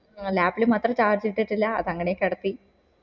lap മാത്രം charge ഇട്ടിട്ടില്ല അതങ്ങനെ വച്ചു